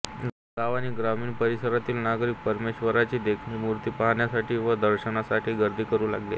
गाव व ग्रामीण परीसरातील नागरीक परमेश्वराची देखनी मुर्ती पाहण्यासाठी व दर्शनासाठी गर्दी करु लागले